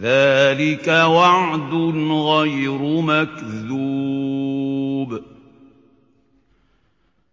ذَٰلِكَ وَعْدٌ غَيْرُ مَكْذُوبٍ